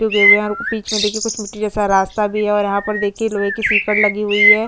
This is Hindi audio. उगे हुए है बीच में देखिये कुछ मिट्टी जैसा रास्ता भी है और यहाँ पर देखिये लोहे की सिकड़ लगी हुयी है।